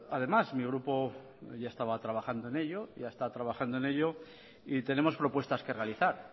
además mi grupo ya estaba trabajando en ello ya está trabajando en ello y tenemos propuestas que realizar